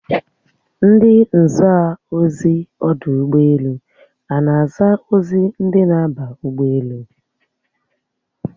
Ndi nza ozi ọdụ ụgbọelu a na-aza ozi ndị na-aba ụgbọelu?